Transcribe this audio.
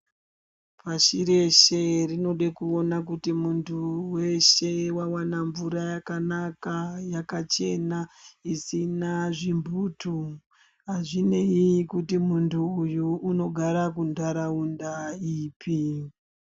Pashi reshe tinode kuona kuti muntu weshe wawana mvura yakanaka yakachena isina zvimbutu, azvineyi kuti muntu uyu unogara kuntaraunda ipi.